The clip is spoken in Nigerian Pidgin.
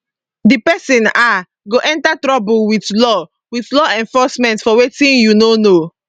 di pesin um go enter trouble wit law wit law enforcement for wetin you no know